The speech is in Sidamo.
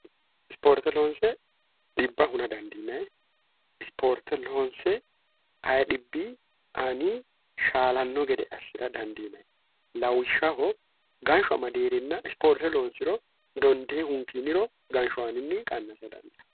isporte loonse dhibo hu dandiina ispoorte loonse hbaani shaalanno gede assi'ra dandiinahe lawihshaho gansho madiirinna ispoorte loonsiro dondee hunkiiniro gansho aaninni qannasa dandi